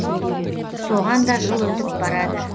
соған да жыл өтіп барады